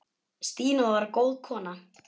Stína var góð kona.